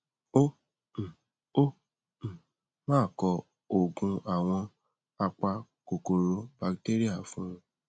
gbogbo èyí ló ń mú kí ìgbésí ayé mi máà láyọ